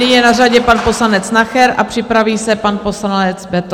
Nyní je na řadě pan poslanec Nacher a připraví se pan poslanec Beitl.